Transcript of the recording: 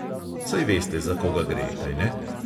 Saj veste za koga gre, kajne?